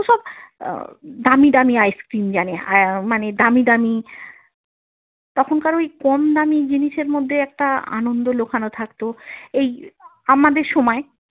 আহ দামী দামী ice cream জানে মানে আহ দামী দামী তখনকার ওই কম দামী জিনিসের মধ্যে একটা আনন্দ লোকানো থাকতো এই আমাদের সময়ে।